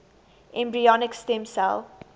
embryonic stem cell